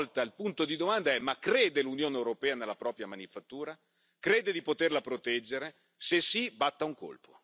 Allora, anche stavolta, il punto di domanda è ma crede l'Unione europea nella propria manifattura? Crede di poterla proteggere?